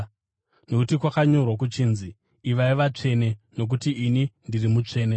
nokuti kwakanyorwa kuchinzi: “Ivai vatsvene, nokuti ini ndiri mutsvene.”